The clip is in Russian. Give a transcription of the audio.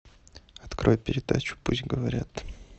открой передачу пусть говорят